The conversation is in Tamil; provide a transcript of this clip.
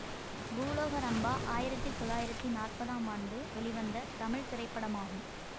பூலோக ரம்பா ஆயிரத்தி தொள்ளாயிரத்தி நாற்பதாம் ஆண்டு வெளிவந்த தமிழ் திரைப்படமாகும்